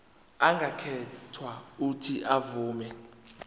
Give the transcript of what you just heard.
angakhetha uuthi avume